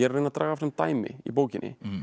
að draga fram dæmi í bókinni